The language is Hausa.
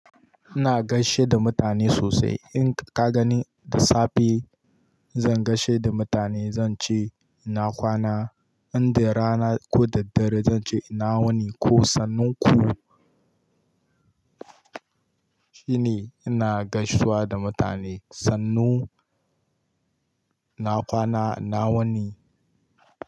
Ina gaishe da mutane sosai. In ka gani da safe zan gaishe da mutane zan ce ina kwana. Inda rana ko da dare zan ce ina wani ko sannu ku. Shine ina gaishewa da mutane. Sannu, ina kwana, ina wani.